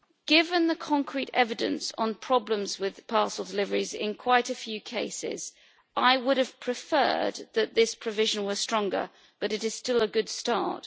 Given the concrete evidence on problems with parcel deliveries in quite a few cases, I would have preferred this provision to be stronger, but it is still a good start.